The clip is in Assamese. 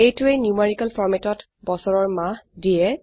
এইটোৱে নিউমেৰিকেল ফৰম্যাটত বছৰৰ মাহ দিয়ে